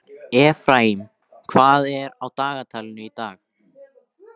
Efraím, hvað er á dagatalinu í dag?